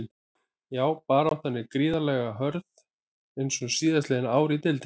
Já baráttan er gríðarlega hörð eins og síðastliðin ár í deildinni.